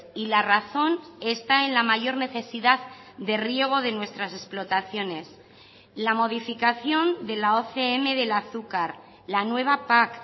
y la razón está en la mayor necesidad de riego de nuestras explotaciones la modificación de la ocm del azúcar la nueva pac